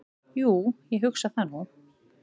"""Jú, ég hugsa það nú."""